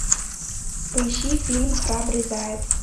поищи фильм храбрый заяц